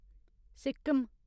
Sikkim